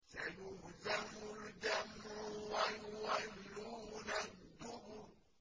سَيُهْزَمُ الْجَمْعُ وَيُوَلُّونَ الدُّبُرَ